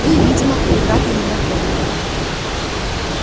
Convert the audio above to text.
вы видимо превратно меня поняли